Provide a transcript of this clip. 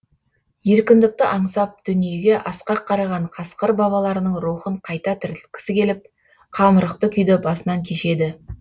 еркіндікті аңсап дүниеге асқақ қараған қасқыр бабаларының рухын қайта тірілткісі келіп қамырықты күйді басынан кешеді